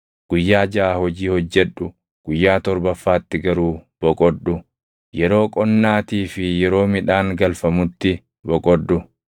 “Guyyaa jaʼa hojii hojjedhu; guyyaa torbaffaatti garuu boqodhu. Yeroo qonnaatii fi yeroo midhaan galfamutti boqodhu.